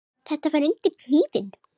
Þarftu að fara undir hnífinn?